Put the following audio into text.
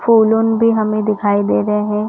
फूल उन भी हमें दिखाई दे रहे है।